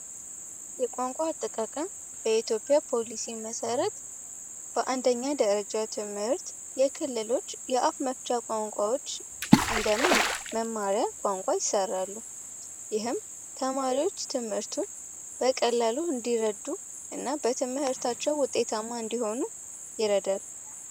የቋንቋ አጠቃቀም በኢትዮጵያ ፖሊሲ መሠረት በአንደኛ ደረጃ ትምህርት የክልሎች የአፍ መፍቻ ቋንቋዎች መማሪያ ቋንቋ ይሰራሉ ተማሪዎች ትምርቱ በቀላሉ እንዲረዱ እና በትምህርታቸው ውጤታማ እንዲሆኑ ይረዳል